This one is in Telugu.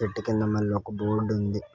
చెట్టు కింద మల్లొక బోర్డ్ ఉంది.